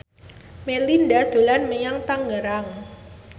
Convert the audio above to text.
Melinda dolan menyang Tangerang